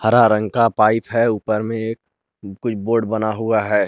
हरा रंग का पाइप है ऊपर में एक कोई बोर्ड बना हुआ है।